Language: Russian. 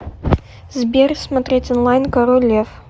сбер смотреть онлайн король лев